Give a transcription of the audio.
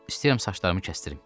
İstəyirəm saçlarımı kəsdirim.